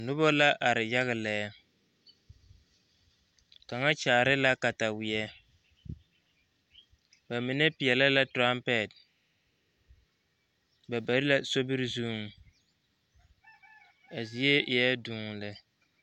Noba la are yaga lɛ kaŋa kyaare la kataweɛ ba mine peɛlɛ la turampɛt ba be la sobiri zuŋ a zie eɛ duu lɛ.